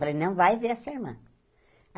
Falei, não vai ver essa irmã.